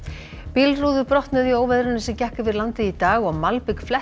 bílrúður brotnuðu í óveðrinu sem gekk yfir landið í dag og malbik